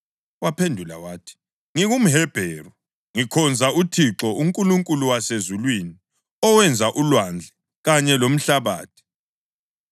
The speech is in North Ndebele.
Waphendula wathi, “NgingumHebheru, ngikhonza uThixo, uNkulunkulu wasezulwini, owenza ulwandle kanye lomhlabathi.”